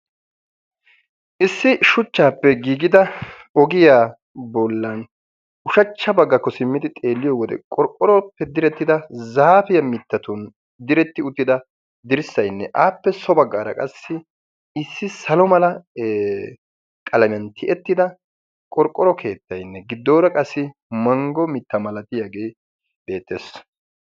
Issi shuchchappe giigida ogiya bollan ushshachcha baggakko simmidi xeeliyoode qorqqoro direttida zaappiya mittatun diretti uttida dirssaynne appe so baggaara qassi issi salo mala tiyyettida qorqqoro keettaynne giddoora qassi manggo mitta malatiyaage beettees.